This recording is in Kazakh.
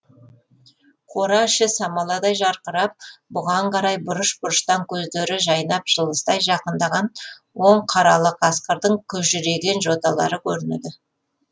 қора іші самаладай жарқырап бұған қарай бұрыш бұрыштан көздері жайнап жылыстай жақындаған он қаралы қасқырдың күжірейген жоталары көрінеді